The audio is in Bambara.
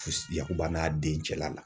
Yakuba n'a den cɛla la.